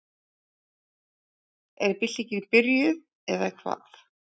Er byltingin byrjuð, eða hvað?